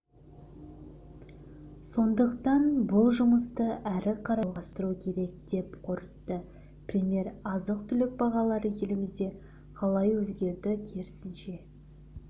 сондықтан бұл жұмысты әрі қарай жалғастыру керек деп қорытты премьер азық-түлік бағалары елімізде қалай өзгерді керісінше